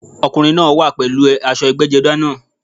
Ọkùnrin náá wà pèlú aṣọ ẹgbẹ́jọdá náà